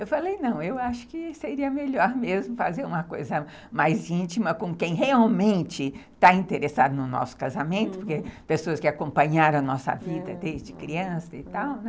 Eu falei, não, eu acho que seria melhor mesmo fazer uma coisa mais íntima com quem realmente está interessado no nosso casamento, porque pessoas que acompanharam a nossa vida desde criança e tal, né?